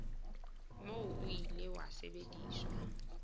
moo o ile wa sebediswa